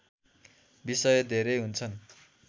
विषय धेरै हुन्छन्